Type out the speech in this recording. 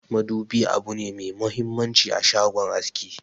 Madubi abune me muhimmanci a shagon aski.